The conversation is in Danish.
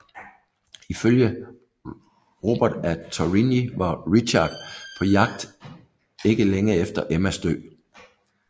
Ifølge Robert af Torigny var Richard på jagt ikke længe efter Emmas død